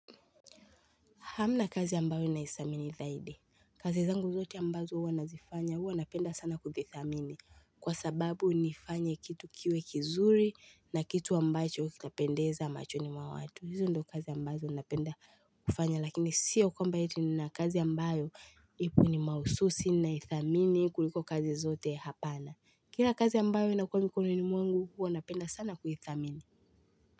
Hamna kazi ambayo ninaithamini zaidi. Kazi zangu zote ambazo huwa nazifanya huwa napenda sana kuzithamini. Kwa sababu nifanye kitu kiwe kizuri na kitu ambacho kitapendeza machoni mwa watu. Hizi ndo kazi ambazo napenda kufanya lakini sio kwamba ati nina kazi ambayo ipo ni mahususi ninaithamini kuliko kazi zote hapana. Kila kazi ambayo inakuwa mikononi mwangu huwa napenda sana kuithamini.